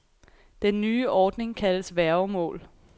Den nye ordning kaldes værgemål.